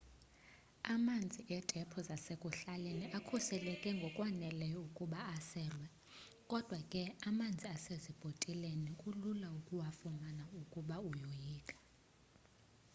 amanzi etephu zasekuhlaleni akhuseleke ngokwaneleyo ukuba aselwe kodwa ke amanzi asezibhotileni kulula ukuwafumana ukuba uyoyika